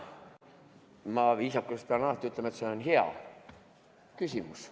Ma pean viisakusest alati ütlema, et see on hea küsimus.